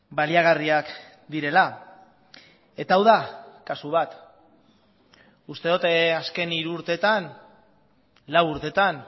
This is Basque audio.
baliagarriak direla eta hau da kasu bat uste dut azken hiru urtetan lau urtetan